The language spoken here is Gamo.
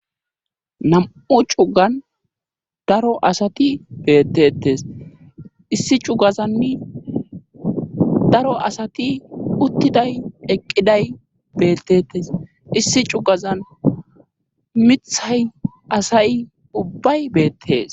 Nam7u cugan daro asati beettetes issi cugazanni daro asati uttiday eqqiday beettetes issi cugazan mithay asay ubbay beettes.